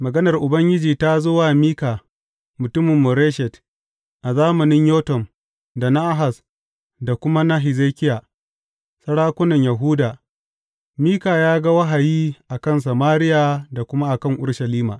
Maganar Ubangiji ta zo wa Mika mutumin Moreshet a zamanin Yotam, da na Ahaz, da kuma na Hezekiya, sarakunan Yahuda, Mika ya ga wahayi a kan Samariya da kuma a kan Urushalima.